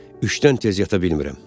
Üçdən tez yata bilmirəm.